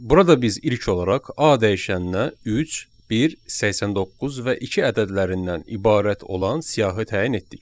Burada biz ilk olaraq A dəyişəninə 3, 1, 89 və 2 ədədlərindən ibarət olan siyahı təyin etdik.